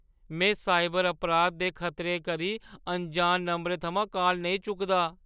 में साइबर अपराध दे खतरे करी अनजान नंबरें थमां कॉल नेईं चुकदा।